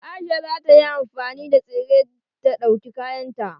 Aisha za ta yi amfani da tsere ta dauki kayan ta.